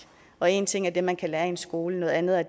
og én ting er det man kan lære i en skole noget andet er